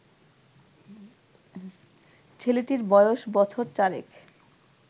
ছেলেটির বয়স বছর চারেক